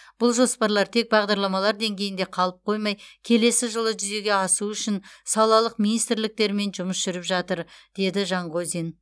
бұл жоспарлар тек бағдарламалар деңгейінде қалып қоймай келесі жылы жүзеге асуы үшін салалық министрліктермен жұмыс жүріп жатыр деді жанғозин